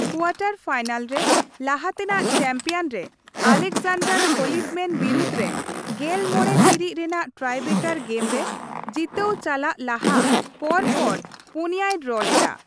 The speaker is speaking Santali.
ᱠᱳᱣᱟᱴᱟᱨ ᱯᱷᱟᱭᱱᱮᱞ ᱨᱮ, ᱞᱟᱦᱟᱛᱮᱱᱟᱜ ᱪᱟᱢᱯᱤᱭᱟᱱ ᱨᱮ ᱟᱞᱮᱠᱡᱟᱱᱰᱟᱨ ᱠᱷᱚᱞᱤᱯᱷᱢᱮᱱ ᱵᱤᱨᱩᱫᱷ ᱨᱮ ᱑᱕ ᱴᱤᱲᱤᱡ ᱨᱮᱱᱟᱜ ᱴᱨᱟᱭᱵᱮᱠᱟᱨ ᱜᱮᱢ ᱨᱮ ᱡᱤᱛᱟᱹᱣ ᱪᱟᱞᱟᱜ ᱞᱟᱦᱟ ᱯᱚᱨ ᱯᱚᱨ ᱯᱩᱱᱭᱟᱭ ᱰᱨᱚ ᱞᱮᱫᱟ ᱾